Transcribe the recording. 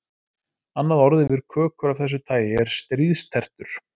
Annað orð yfir kökur af þessu tagi er stríðstertur.